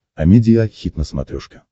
амедиа хит на смотрешке